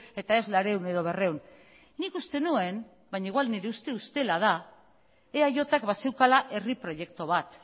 eta ez laurehun edo berrehun nik uste nuen baina igual nire uste ustela da eajk bazeukala herri proiektu bat